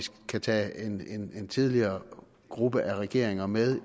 kan tage en en tidligere gruppe af regeringer med